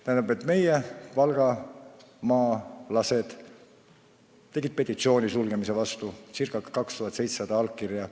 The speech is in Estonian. Tähendab, valgamaalased esitasid petitsiooni osakonna sulgemise vastu – ca 2700 allkirja.